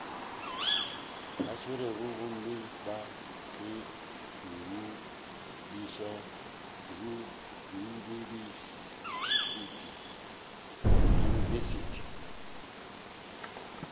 swerego gomme ba ye diyunibesithi